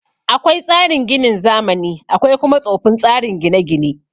Akwai tsarin ginin zamani akwai kuma tsofin tsarin gine gine